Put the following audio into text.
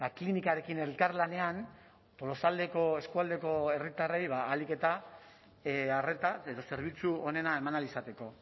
klinikarekin elkarlanean tolosaldeko eskualdeko herritarrei ahalik eta arreta edo zerbitzu onena eman ahal izateko